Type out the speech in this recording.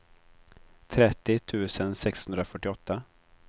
trettio tusen sexhundrafyrtioåtta